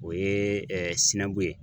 O ye ye